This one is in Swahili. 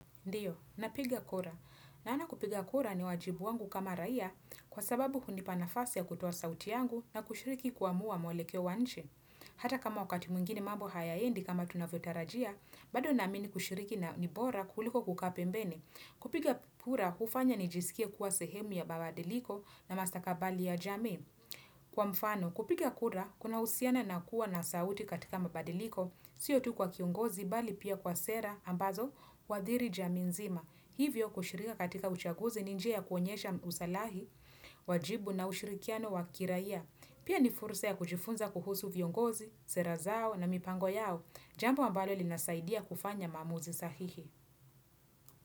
Ndio, napiga kura. Naoana kupiga kura ni wajibu wangu kama raia kwa sababu hunipa nafasi ya kutua sauti yangu na kushiriki kuamua mwelekeo wa nchi Hata kama wakati mwingine mabo hayaendi kama tunavyotarajia, bado na amini kushiriki na ni bora kuliko kukaa pembeni. Kupiga kura, hufanya nijisikie kuwa sehemu ya mabadiliko na mastakabali ya jamii. Kwa mfano, kupiga kura, kunahusiana na kuwa na sauti katika mabadiliko, sio tu kwa kiongozi, bali pia kwa sera, ambazo, huadhiri jamii nzima. Hivyo kushirika katika uchaguzi, ni njia ya kuonyesha usalahi, wajibu na ushirikiano wakiraiya. Pia ni fursa ya kujifunza kuhusu viongozi, sera zao na mipango yao. Jambo ambalo linasaidia kufanya maamuzi sahihi.